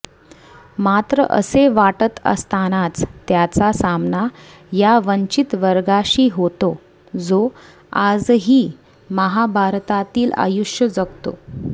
मात्र असे वाटत असतानाच त्याचा सामना या वंचित वर्गाशी होतो जो आजही महाभारतातील आयुष्य जगतो